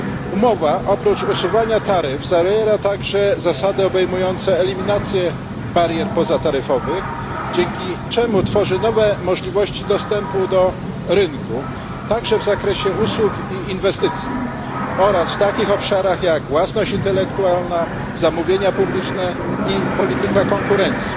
Umowa, oprócz usuwania taryf, zawiera także zasady obejmujące eliminację barier pozataryfowych, dzięki czemu tworzy nowe możliwości dostępu do rynku, także w zakresie usług i inwestycji, oraz w takich obszarach jak własność intelektualna, zamówienia publiczne i polityka konkurencji.